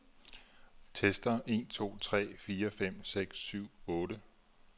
Tester en to tre fire fem seks syv otte.